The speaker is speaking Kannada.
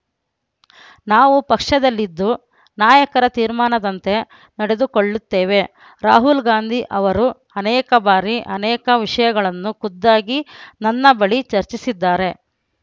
ನಾವು ಪಕ್ಷದಲ್ಲಿದ್ದು ನಾಯಕರ ತೀರ್ಮಾನದಂತೆ ನಡೆದುಕೊಳ್ಳುತ್ತೇವೆ ರಾಹುಲ್‌ ಗಾಂಧಿ ಅವರು ಅನೇಕ ಬಾರಿ ಅನೇಕ ವಿಷಯಗಳನ್ನು ಖುದ್ದಾಗಿ ನನ್ನ ಬಳಿ ಚರ್ಚಿಸಿದ್ದಾರೆ